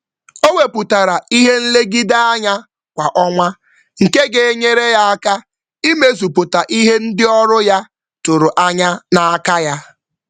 Ọ setịpụrụ ebumnuche kwa ọnwa iji soro arụmọrụ ya dabere na atụmanya otu na-agbanwe.